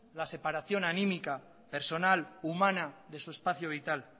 la separación anímica personal humana de su espacio vital